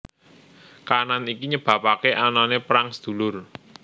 Kahanan iki nyebabake anane perang sedulur